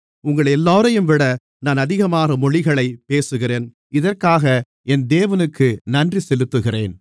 உங்களெல்லோரையும்விட நான் அதிகமான மொழிகளைப் பேசுகிறேன் இதற்காக என் தேவனுக்கு நன்றி செலுத்துகிறேன்